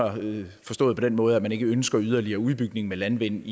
forstået på den måde at man ikke ønsker yderligere udbygning af landvind